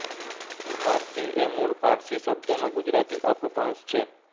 ફારસી એ મૂળ પારસી શબ્દનો ગુજરાતી અપભ્રંશ છે